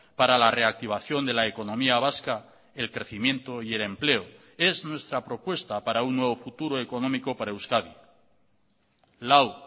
para la reactivación de la economía vasca el crecimiento y el empleo es nuestra propuesta para un nuevo futuro económico para euskadi lau